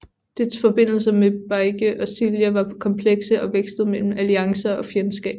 Dets forbindelser med Baekje og Silla var komplekse og vekslede mellem alliancer og fjendskab